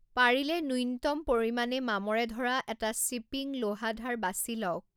পাৰিলে ন্যূনতম পৰিমাণে মামৰে ধৰা এটা শ্বিপিং লৌহাধাৰ বাছি লওক।